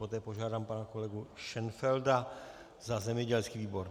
Poté požádám pana kolegu Šenfelda za zemědělský výbor.